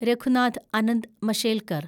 Raghunath Anant Mashelkar